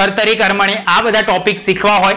કર્તરી, કર્મણિ આ બધા ટોપિક સિખવા હોય,